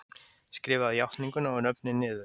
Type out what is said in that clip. Skrifaðu játninguna og nöfnin niður.